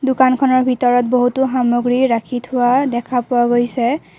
দোকানৰখনৰ ভিতৰত বহুতো সামগ্ৰী ৰাখি থোৱা দেখা পোৱা গৈছে।